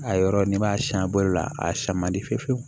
A yɔrɔ ni m'a siyan a bɔli la a siyɛn man di fiye fiyewu